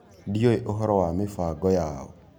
Ndĩũĩ ũhoro wa mĩbango yao.